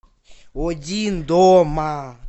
один дома